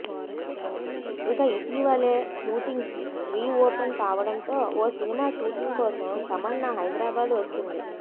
ఇక ఇటీవలే shootings reopen కావడంతో ఓ సినిమా షూటింగ్ కోసం తమన్నా హైదరాబాద్ వచ్చింది